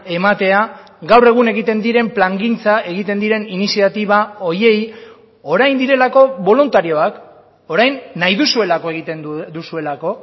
ematea gaur egun egiten diren plangintza egiten diren iniziatiba horiei orain direlako boluntarioak orain nahi duzuelako egiten duzuelako